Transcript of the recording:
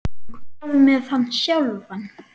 En hvað með hann sjálfan?